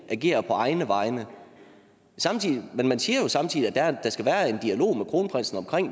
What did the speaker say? agerer på egne vegne men man siger jo samtidig at der skal være en dialog med kronprinsen om